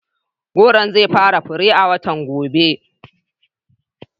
Gworon zai fara fure a watan gobe.